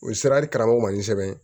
U ye siradi karamɔgɔ ma ni sɛbɛn ye